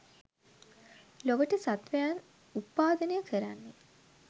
ලොවට සත්වයන් උප්පාදනය කරන්නේ